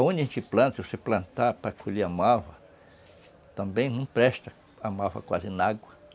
Aonde a gente planta, se você plantar para colher a malva, também não presta a malva quase na água.